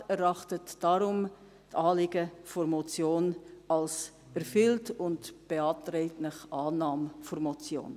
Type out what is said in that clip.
Der Regierungsrat erachtet deshalb die Anliegen der Motion als erfüllt und beantragt Ihnen die Annahme der Motion.